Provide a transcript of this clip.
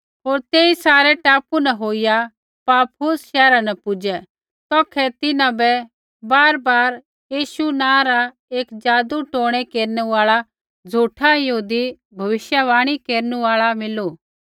होर तेई सारै टापू न होईया पाफुस शैहरा न पुजै तौखै तिन्हां बै बारयीशु नाँ रा एक जादूटोणै केरनु आल़ा झ़ूठा यहूदी भविष्यवाणी केरनु आल़ा मिलू